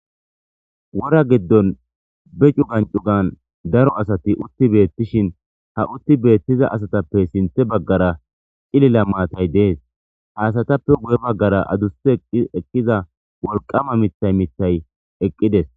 wora giddon be cugan cugan daro asati utti beettishin ha utti beettiza asatappe sinthe baggara cilila maatay dees haasatappe guye baggara adusse eqkiza wolqama mithay mithay eqqides